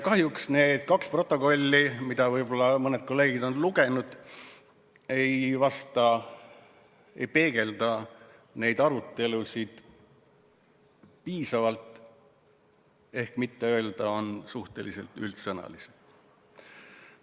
Kahjuks need kaks protokolli, mida võib-olla mõned kolleegid on lugenud, ei peegelda neid arutelusid piisavalt, et mitte öelda, need on suhteliselt üldsõnalised.